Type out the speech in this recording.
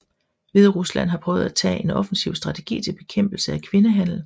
Hviderusland har prøvet at taget en offensiv strategi til bekæmpelse af kvindehandel